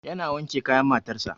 Yana wanke kayan makarantar sa